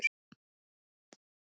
Landaurar skulu upp gefast.